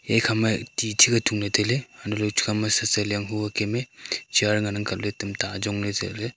yakhama tii changah thungley tailay hantohley chukaoma satsialang hua kem eh chair nganang kabley tamta ajongley zehley.